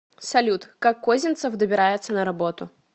салют как козинцев добирается на работу